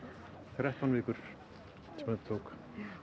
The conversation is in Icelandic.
þrettán vikur sem þetta tók